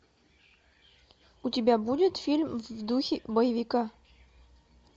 у тебя будет фильм в духе боевика